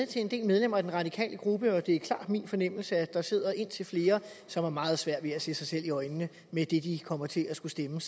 til en del medlemmer af den radikale gruppe og det er klart min fornemmelse at der sidder indtil flere som har meget svært ved at se sig selv i øjnene med det de kommer til at skulle stemme